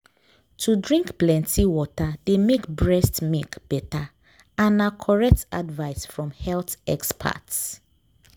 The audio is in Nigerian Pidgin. to drink plenty water dey make breast milk better and na correct advice from health experts